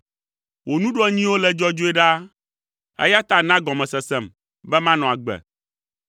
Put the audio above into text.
Wò nuɖoanyiwo le dzɔdzɔe ɖaa, eya ta na gɔmesesem, be manɔ agbe.